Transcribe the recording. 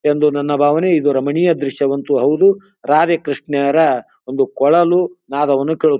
ಎಂದು ನನ್ನ ಭಾವನೆ ಇದು ರಮಣೀಯ ದೃಶ್ಯವಂತೂ ಹೌದು ರಾಧೆ ಕೃಷ್ಣರ ಒಂದು ಕೊಳಲು ನಾಧವನ್ನು ಕೇಳು --